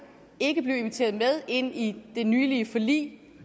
ikke blev inviteret med ind i det nylige forlig